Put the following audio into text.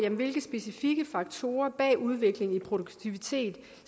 om hvilke specifikke faktorer bag udviklingen i produktivitet